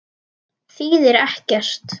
Þýðir ekkert.